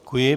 Děkuji.